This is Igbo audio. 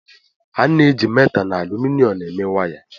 a na-eji métà na álúmịnịọm eme waya